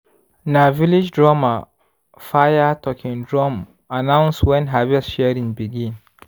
na village drummer fire talking drum announce when harvest sharing begin.